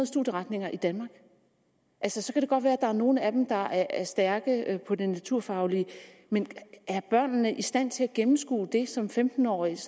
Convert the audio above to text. studieretninger i danmark altså så kan det godt være at der er nogle af dem der er stærke med det naturfaglige men er børnene i stand til at gennemskue det som femten årige